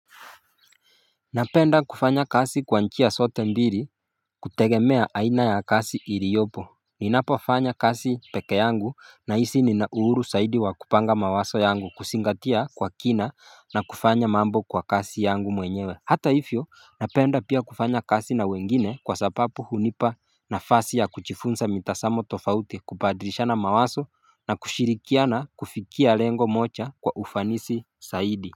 Napenda kufanya kazi kwa njia zote mbili kutegemea aina ya kazi iliyopo, Ninapofanya kazi pekeyangu nahisi ninauhuru zaidi wa kupanga mawazo yangu kuzingatia kwa kina, na kufanya mambo kwa kazi yangu mwenyewe, Hata hivyo napenda pia kufanya kazi na wengine kwa sababu hunipa nafasi ya kujifunza mitazamo tofauti kubadilishana mawazo na kushirikiana kufikia lengo moja kwa ufanisi zaidi.